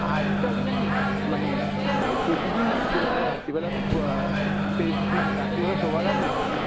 আমি তো আগে জানিস মানে অ্যাঁ প্রতিদিন রাত্রিবেলা, রাত্রিবেলা আহ face মানে রাত্রিবেলা শোওয়ার আগে,